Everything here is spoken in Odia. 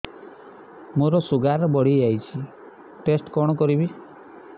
ମୋର ଶୁଗାର ବଢିଯାଇଛି ଟେଷ୍ଟ କଣ କରିବି